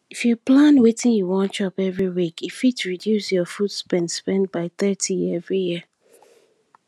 if you plan wetin you wan chop every week e fit reduce your food spend spend by thirty every year